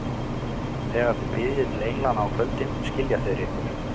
Þegar þið biðjið til englanna á kvöldin, skilja þeir ykkur.